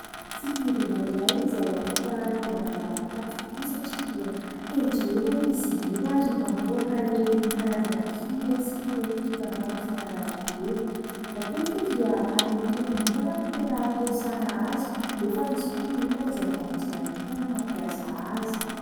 Fitaovana iray izay afaka anaovana zava-kanto tokoa satria dia tendrena izy io ary mamoaka ireny karazana hira sy feon-kira maro isan-karazany ireny. Matetika dia any am-piangonana no tena ampiasana azy nefa misy koa ny olona izay mamonjy lanonana mampiasa azy.